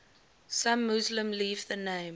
some muslims leave the name